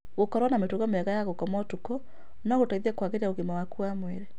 Gũkorwo na mĩtugo mĩega ya gũkoma ũtuko no gũteithie kwagĩria ũgima waku wa mwĩrĩ.